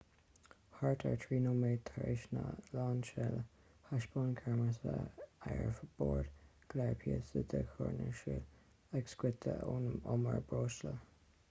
thart ar 3 nóiméad tar éis an lainseála thaispeáin ceamara ar bord go leor píosaí de chúrinsliú ag scoitheadh ón umar breosla